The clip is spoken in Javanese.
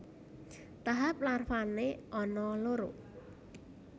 Tahap larvané ana loro